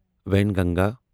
Wainganga